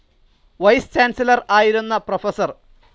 Vice chancellor ആയിരുന്ന professor.